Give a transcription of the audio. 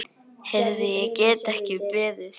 Heyrðu, ég get ekki beðið.